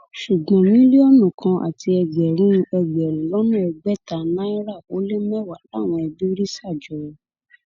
ṣùgbọn mílíọnù kan àti ẹgbẹrún ẹgbẹrún lọnà ẹgbẹta náírà ó lé mẹwàá làwọn ẹbí rí ṣà jọ